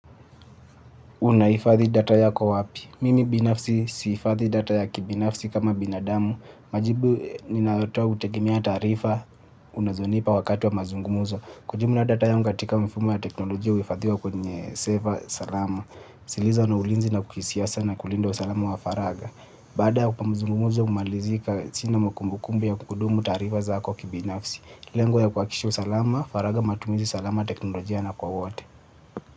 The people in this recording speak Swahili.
Unahifadhi data yako wapi? Mimi binafsi siifadhi data ya kibinafsi kama binadamu. Majibu ninayotoa hutegemea taarifa unazonipa wakatu wa mazungumuzo. Kwa jumla data yanga katika mfumo ya teknolojia uhifadhiwa kwenye seva salama. Zilizo na ulinzi na kuisiasa na kulinda usalama wa faraga. Baada ya pamzungumzo humalizika sina makumbukumbu ya kuhudumu taarifa zako kibinafsi. Lengo ya kuhakikisha usalama, faraga matumizi salama teknolojia na kwa wote.